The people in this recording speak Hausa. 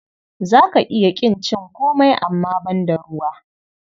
Za ka iya ƙin cin komai amma banda ruwa.